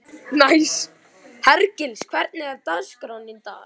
Hergils, hvernig er dagskráin í dag?